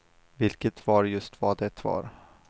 Vilket var just vad de var.